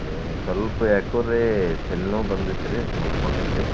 ಏ ಸ್ವಲ್ಪ ಯಾಕೋರಿ ತಲಿನೋವ್ ಬಂದಿತ್ರಿ ಮಲ್ಕೊಂಡಿದ್ದೆ.